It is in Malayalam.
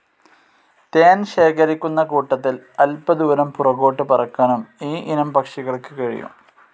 ഹണി ശേഖരിക്കുന്ന കൂട്ടത്തിൽ അല്പദൂരം പുറകോട്ട് പറക്കാനും ഈ ഇനം പക്ഷികൾക്ക് കഴിയും.